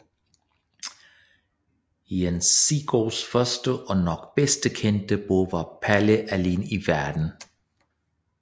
Jens Sigsgaards første og nok bedst kendte bog var Palle alene i Verden